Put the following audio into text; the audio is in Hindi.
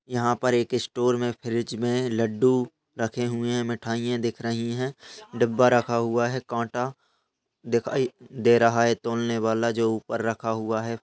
यहाँ पर एक स्टोर में फ्रिज में लड्डू रखे हुए हैं मिठाइयाँ दिख रही है डिब्बा रखा हुआ है काँटा दिखाई दे रहा है तोलने वाला जो ऊपर रखा हुआ है।